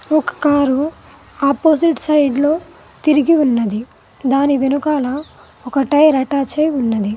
ఒక car opposite సైడ్లో తిరిగి ఉన్నది దాని వెనుకాల ఒక టైర్ అటాచై ఉన్నది.